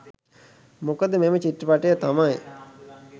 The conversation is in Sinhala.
මොකද මෙම චිත්‍රපටය තමයි